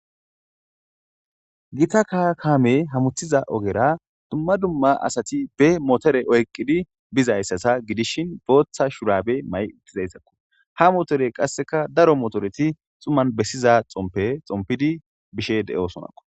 gita kaame hamuthiza ogera dumma dumma asati be motore oyqqidi bizayssasa gidishin booththa shurabe may uttizayssakko ha motore qasseka daro motoreti xuman bessiza xompe xompidi bishe de7oosonakko